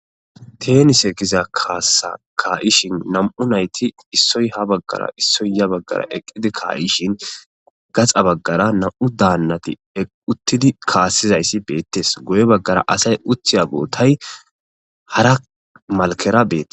Teenise giza kaassa ka7ishin nam7u nayti issoy ha baggara issoy ya baggara eqqidi ka7ishin gaxa baggara na7u daannati eqqi uttidi kaassizayssi beettes. Guye baggara asay uthiya bootay hara malkera beete.